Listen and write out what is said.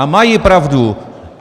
A mají pravdu.